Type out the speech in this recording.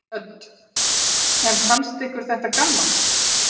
Hödd: En fannst ykkur þetta gaman?